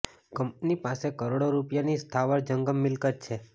company પાસે કરોડો રુપિયાની સ્થાવર જંગમ મિલકત છે